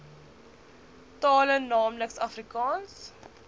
tale naamlik afrikaans